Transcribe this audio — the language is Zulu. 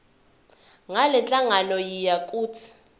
ngalenhlangano yiya kut